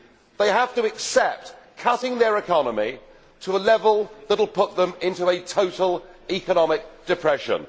They have to accept cutting their economy to a level that will put them in total economic depression.